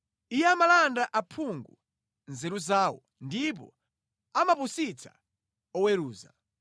Iye amalanda aphungu nzeru zawo ndipo amapusitsa oweruza.